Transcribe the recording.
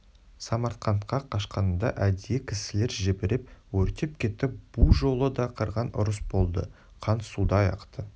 самарқантқа қашқанында әдейі кісілер жіберіп өртеп кетті бұ жолы да қырғын ұрыс болды қан судай ақты